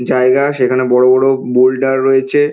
জায়গা সেখানে বড় বড় বোল্ডার রয়েছে।